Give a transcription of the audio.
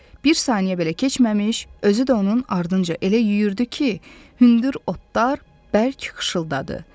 Bir saniyə belə keçməmiş, özü də onun ardınca elə yüyürürdü ki, hündür otlar bərk xışıltadı.